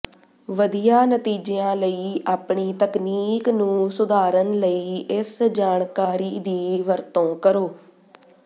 ਵਧੀਆ ਨਤੀਜਿਆਂ ਲਈ ਆਪਣੀ ਤਕਨੀਕ ਨੂੰ ਸੁਧਾਰਨ ਲਈ ਇਸ ਜਾਣਕਾਰੀ ਦੀ ਵਰਤੋਂ ਕਰੋ